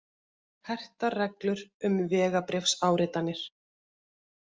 Hertar reglur um vegabréfsáritanir